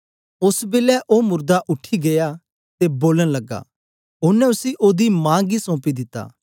ओस बेलै ओ मुरदा उठी गीया ते बोलन लगा ओनें उसी ओदी मां गी सौंपी दिता